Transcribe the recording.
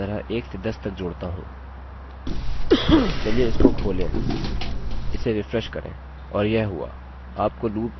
चलिए इसको खोलें इसे रिफ्रेश करें और यह हुआ आप को loop 123 इसी तरह से 10 तक मिल गया जैसा कि आप देख सकते हैं